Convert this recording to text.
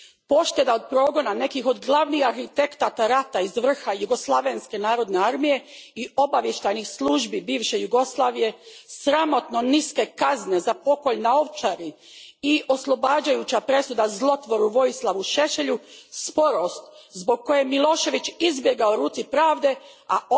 Pošteda od progona nekih od glavnih arhitekata rata iz vrha Jugoslavenske narodne armije i obavještajnih službi bivše Jugoslavije, sramotno niske kazne za pokolj na Ovčari i oslobađajuća presuda zlotvoru Vojislavu Šešelju, sporost zbog koje je Milošević izbjegao ruci pravde, a